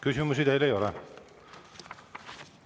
Küsimusi teile ei ole.